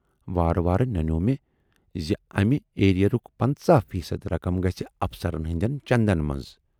وارٕ وارٕ ننیوم زِ امہِ ایرئیرُک پنٛژاہ فیصد رقم گژھِ افسرن ہٕندٮ۪ن چندن منز